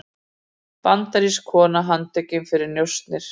Bandarísk kona handtekin fyrir njósnir